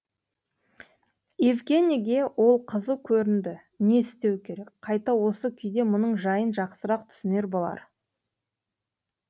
евгенийге ол қызу көрінді не істеу керек қайта осы күйде мұның жайын жақсырақ түсінер болар